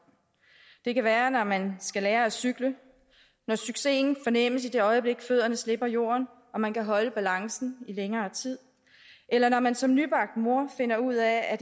det kan være når man skal lære at cykle når succesen fornemmes i det øjeblik hvor fødderne slipper jorden og man kan holde balancen i længere tid eller når man som nybagt mor finder ud af at